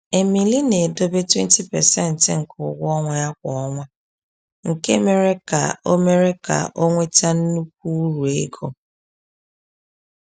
Emili na-edobe 20% nke ụgwọ ọnwa ya kwa ọnwa, nke mere ka ọ mere ka ọ nweta nnukwu uru ego.